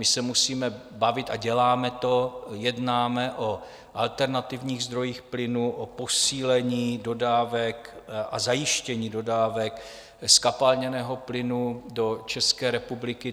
My se musíme bavit, a děláme to, jednáme o alternativních zdrojích plynu, o posílení dodávek a zajištění dodávek zkapalněného plynu do České republiky.